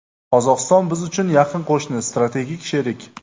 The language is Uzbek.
Qozog‘iston biz uchun yaqin qo‘shni, strategik sherik.